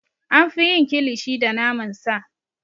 An fi yin Kilishi da naman sa.